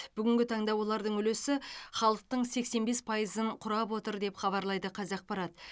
бүгінгі таңда олардың үлесі халықтың сексен бес пайызын құрап отыр деп хабарлайды қазақпарат